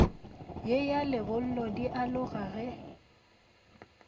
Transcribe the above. ye ya lebollo dialoga ge